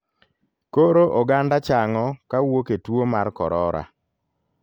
Koro oganda chang'o kawuok e tuo mar korora.